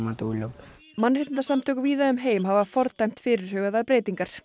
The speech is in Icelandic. mannréttindasamtök víða um heim hafa fordæmt fyrirhugaðar breytingar